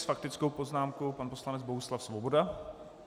S faktickou poznámkou pan poslanec Bohuslav Svoboda.